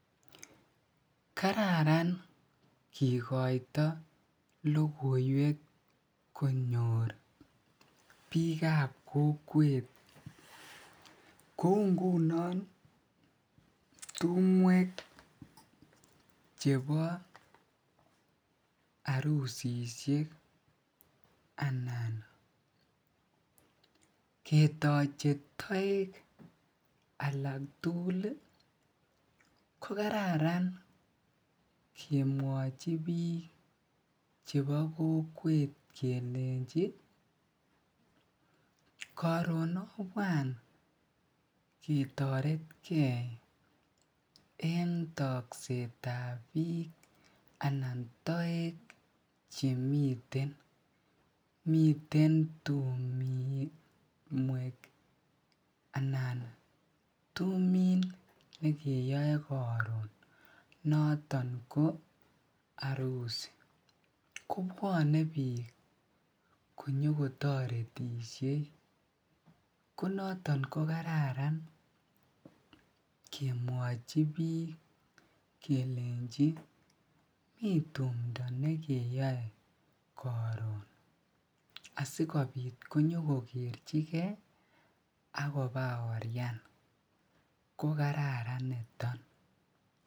Kararan kikoito lokoiwek konyor biikab kokwet kouu ngunon tumwek chebo arusisiek anan ketoche toek alak tukul ko kararan kemwochi biik chebo kokwet kelenji koron obwan ketoretke en toksetab biik anan toek chemiten, miten tumwek anan tumin nekeyoe koron noton ko arusi, kobwone biik konyo ko toretishe ko noton ko kararan kemwochi biik kelenchi miten tumndo nekeyoe koron asikobit konyo ko kerchike ak kobaorian ko kararan niton.